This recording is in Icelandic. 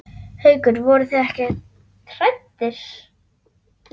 Haukur: Voruð þið ekkert hræddir?